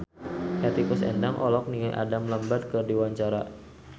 Hetty Koes Endang olohok ningali Adam Lambert keur diwawancara